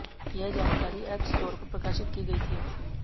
यह जानकारी एपस्टोर पर प्रकाशित की गई थी